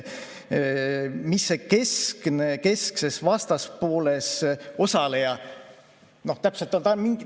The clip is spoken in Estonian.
Kes see keskses vastaspooles osaleja täpselt on?